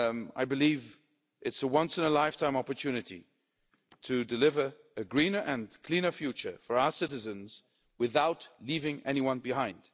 I believe it's a once in a lifetime opportunity to deliver a greener and cleaner future for our citizens, without leaving anyone behind.